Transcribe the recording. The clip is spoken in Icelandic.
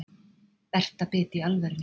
Berta bit í alvörunni.